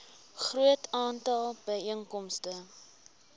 groot aantal byeenkomste